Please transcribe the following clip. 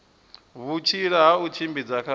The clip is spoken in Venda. vhutsila ha u tshimbidza kha